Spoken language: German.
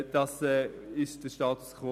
Das ist der Status quo.